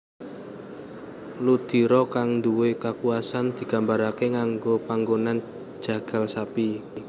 Ludiro kang nduwe kekuwasaan digambarake nganggo panggonan jagal sapi